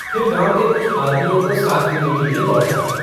फिर गाँव के कुछ आदमियों को साथ लेने के लिए लौटा।